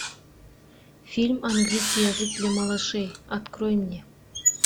фильм английский язык для малышей открой мне